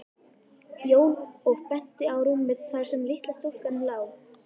Jón og benti á rúmið þar sem litla stúlkan lá.